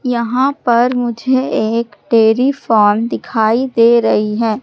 यहां पर मुझे एक डेयरी फार्म दिखाई दे रही है।